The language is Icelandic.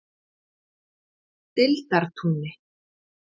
Deildartúni